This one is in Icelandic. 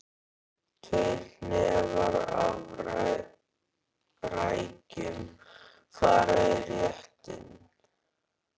Tveir hnefar af rækjum fara í réttinn.